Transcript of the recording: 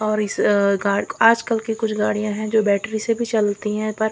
और इस अ गा आज कल की कुछ गाड़ियां है जो बैटरी से भी चलती है पर--